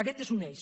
aquest és un eix